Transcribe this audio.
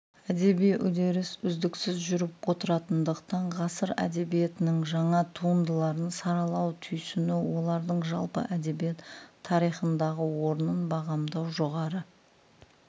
әдеби үдеріс үздіксіз жүріп отыратындықтан ғасыр әдебиетінің жаңа туындыларын саралау түйсіну олардың жалпы әдебиет тарихындағы орнын бағамдау жоғары